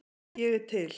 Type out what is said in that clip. Ég er til